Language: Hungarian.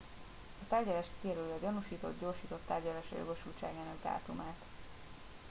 a tárgyalás kijelöli a gyanúsított gyorsított tárgyalásra jogosultságának dátumát